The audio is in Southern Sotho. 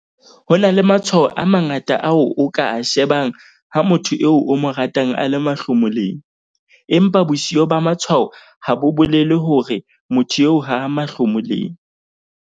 "Ho na le matshwao a mangata ao o ka a shebang ha motho eo o mo ratang a le mahlomoleng, empa bosio ba matshwao ha bo bolele hore motho eo ha a mahlomoleng."